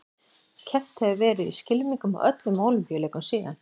Keppt hefur verið í skylmingum á öllum Ólympíuleikum síðan.